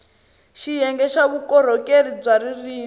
xiyenge xa vukorhokeri bya ririrmi